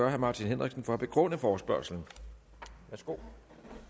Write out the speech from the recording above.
herre martin henriksen for at begrunde forespørgslen værsgo